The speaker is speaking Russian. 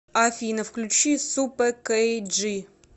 афина включи супэ кэй джи